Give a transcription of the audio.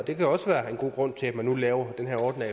det kan også være en god grund til at man nu laver den her ordning